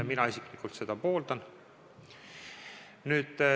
Mina isiklikult seda pooldan.